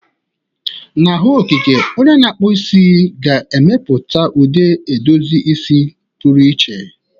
Na ọhụụ okike, onye na-akpụ isi ga-emepụta ụdị edozi isi pụrụ iche.